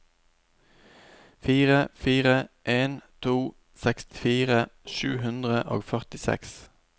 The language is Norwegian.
fire fire en to sekstifire sju hundre og førtiseks